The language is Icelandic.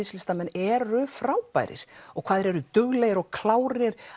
eru frábærir og hvað þeir eru duglegir og klárir